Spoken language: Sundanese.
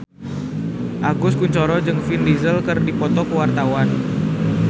Agus Kuncoro jeung Vin Diesel keur dipoto ku wartawan